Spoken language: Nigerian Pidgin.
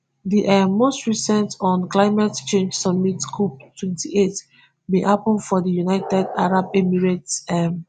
di um most recent un climate change summit cop twenty-eight bin happun for di united arab emirates um